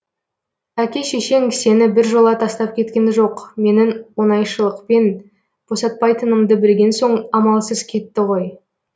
әке шешең сені біржола тастап кеткен жоқ менің оңайшылықпен босатпайтынымды білген соң амалсыз кетті ғой